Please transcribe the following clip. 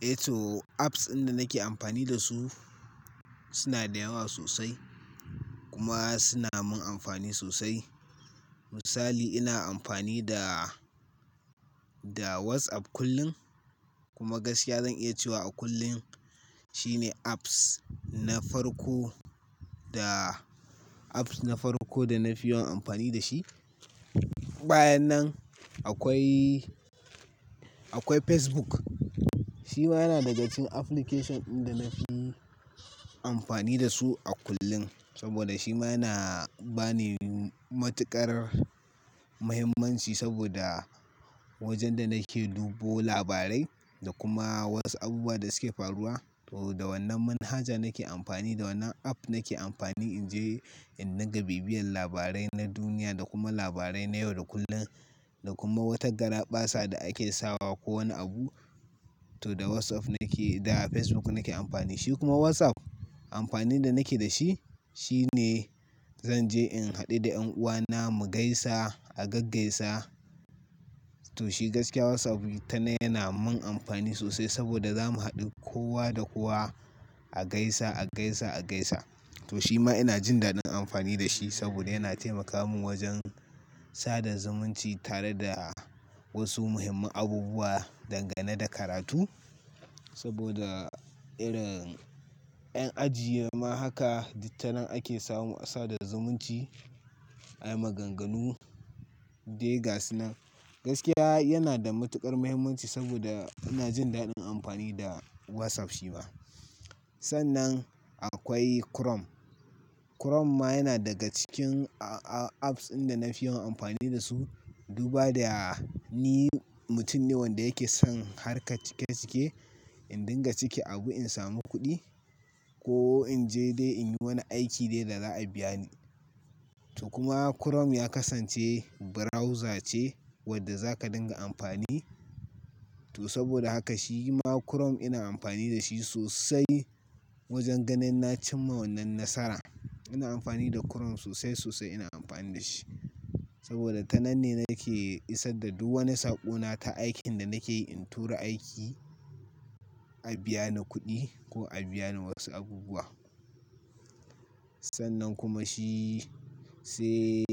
Eh to, apps in da nake amfani da su suna da yawa sosai kuma suna min amfani sosai. Misali ina amfani da, da WhatsApp kullum kuma gaskiya zan iya cewa a kullun shine apps na farko da apps na farko da na fi yawan amfani da shi. Bayan nan akwai, akwai Facebook. Shi ma yana daga cikin application in da na fi amfani da su a kullun. Saboda shi ma na ba ni matuƙar muhimmanci saboda wajen da nake dubo labarai da kuma wasu abubuwa da suke faruwa. To da wannan manhaja nake amfani, da wannan app nake amfani in je in dinga bibiyan labarai na duniya da kuma labarai na yau da kullun da kuma wata garaɓasa da ake sawa ko wani abu. To da WhatsApp nake, da Facebook nake amfani. Shi kuma WhatsApp amfanin da nake da shi, shi ne zan je in haɗu da 'yan uwana mu gaisa a gaggaisa. To shi gaskiya WhatsApp ita ne yana mun amfani sosai saboda zamu haɗu kowa da kowa a gaisa, a gaisa, a gaisa. To shi ma ina jin daɗin amfani da shi saboda yana taimaka mun wajen sada zumunci tare da wasu muhimman abubuwa, dangane da karatu. Saboda irin 'yan aji, ma haka dit tanen ake samu a sada zamunci, ai maganganu ɗai gasu nan. Gaskiya yana da matuƙar muhimmanci saboda ina jin daɗin amfani da WhatsApp shi ma. Sannan akwai Chrome. Chrome ma yana daga cikin a-a-apps inda na fi yawan amfani da su. Duba da ni mutum ne wanda yake son harkar cike cike in dinga cike abu in samu kuɗi ko in je dai in yi wani aiki dai da za a biya ni. To kuma Chrome ya kasance browser ce wadda za ka dinga amfani. To saboda haka shi ma Chrome ina amfani da shi sosai wajen ganin na cimma wannan nasara. Ina amfani da Chrome sosai, sosai ina amfani da shi. Saboda tanan ne nake isar da duk wani saƙo na ta aikin da nake yi in tura aiki a biya ni kuɗi ko a biya ni wasu abubuwa. Sannan kuma shi se